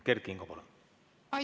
Kert Kingo, palun!